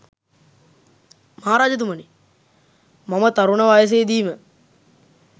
මහ රජතුමනි, මම තරුණ වයසේ දීම